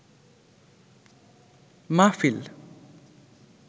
মাহফিল